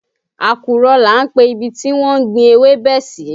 Àkùrọ̀ là ń pe ibi tí wọ́n ń gbin ewébẹ̀ sí